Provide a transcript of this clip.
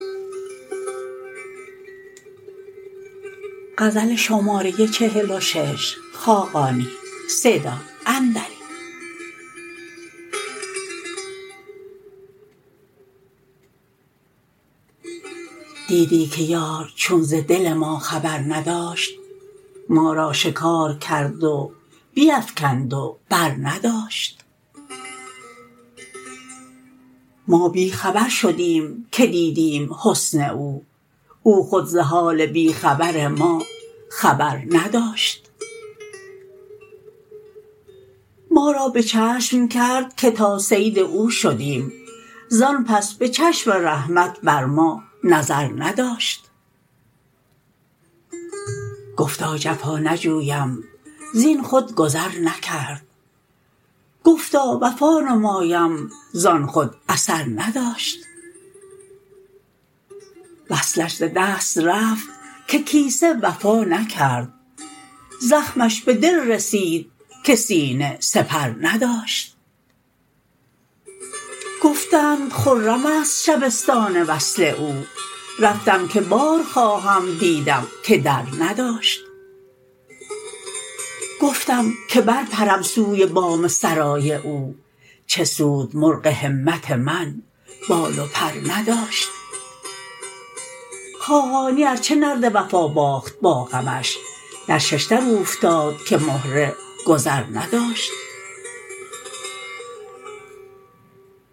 دیدی که یار چون ز دل ما خبر نداشت ما را شکار کرد و بیفکند و برنداشت ما بی خبر شدیم که دیدیم حسن او او خود ز حال بی خبر ما خبر نداشت ما را به چشم کرد که تا صید او شدیم زان پس به چشم رحمت بر ما نظر نداشت گفتا جفا نجویم زین خود گذر نکرد گفتا وفا نمایم زان خود اثر نداشت وصلش ز دست رفت که کیسه وفا نکرد زخمش به دل رسید که سینه سپر نداشت گفتند خرم است شبستان وصل او رفتم که بار خواهم دیدم که در نداشت گفتم که برپرم سوی بام سرای او چه سود مرغ همت من بال و پر نداشت خاقانی ارچه نرد وفا باخت با غمش در ششدر اوفتاد که مهره گذر نداشت